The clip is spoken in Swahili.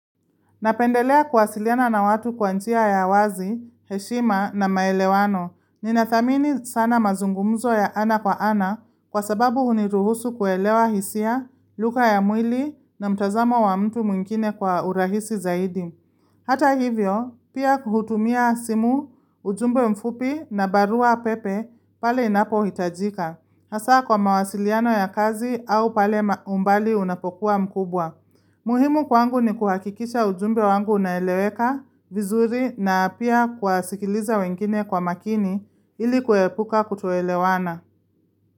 Napendelea kuwasiliana na watu kwa njia ya wazi, heshima na maelewano. Ninathamini sana mazungumzo ya ana kwa ana kwa sababu huniruhusu kuelewa hisia, lugha ya mwili na mtazamo wa mtu mwingine kwa urahisi zaidi. Hata hivyo, pia kuhutumia simu, ujumbe mfupi na barua pepe pale inapo hitajika. Hasa kwa mawasiliano ya kazi au pale umbali unapokuwa mkubwa. Muhimu kwangu ni kuhakikisha ujumbe wangu unaeleweka vizuri na pia kuwasikiliza wengine kwa makini ili kuepuka kutoelewana.